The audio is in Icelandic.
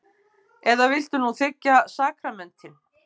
Eða viltu nú þiggja sakramentin?